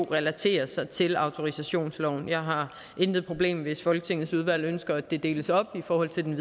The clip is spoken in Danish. relaterer sig til autorisationsloven jeg har intet problem hvis folketingets udvalg ønsker at det deles op i forhold til den